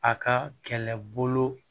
A ka kɛlɛbolo